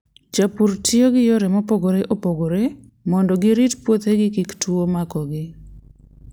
Jopur tiyo gi yore mopogore opogore mondo girit puothegi kik tuwo makogi.